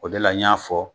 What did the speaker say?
O de la n y'a fɔ